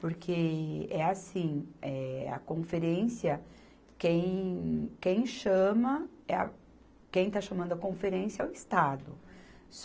Porque é assim, eh, a conferência, quem, quem chama é a, quem está chamando a conferência é o Estado.